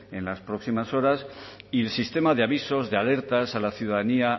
en las próximas horas y el sistema de avisos de alertas a la ciudadanía